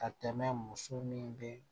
Ka tɛmɛ muso min be